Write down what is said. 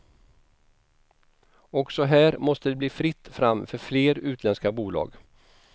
Också här måste det bli fritt fram för fler utländska bolag.